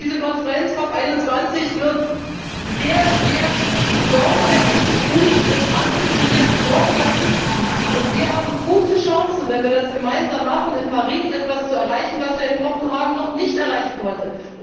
Und diese Konferenz COP 21 wird sehr, sehr sorgfältig, gut und ambitioniert vorbereitet, und wir haben gute Chancen, wenn wir das gemeinsam machen, in Paris etwas zu erreichen, was wir in Kopenhagen noch nicht erreichen konnten.